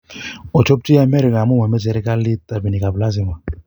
`ochopchi amerika amu mamache serikali rabinik ap lazima